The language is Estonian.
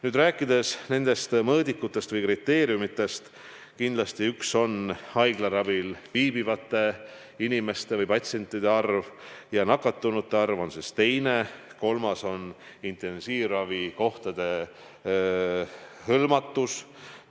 Kui rääkida nendest mõõdikutest või kriteeriumidest, siis kindlasti üks asi on haiglaravil viibivate inimeste arv, patsientide arv, teine on nakatunute arv ja kolmas on intensiivravikohtade hõlmatus.